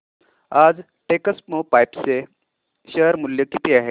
आज टेक्स्मोपाइप्स चे शेअर मूल्य किती आहे